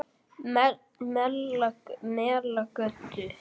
Melagötu